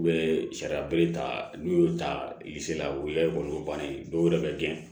U bɛ sariya bele ta n'u y'o ta la u ye olu bannen ye dɔw yɛrɛ bɛ gɛn